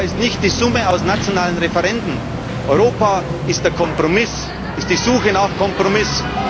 Europa ist nicht die Summe aus nationalen Referenden, Europa ist der Kompromiss, ist die Suche nach Kompromiss.